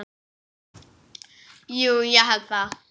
Jú ég held það.